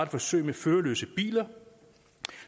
forsøg med førerløse biler